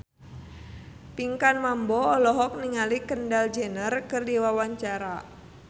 Pinkan Mambo olohok ningali Kendall Jenner keur diwawancara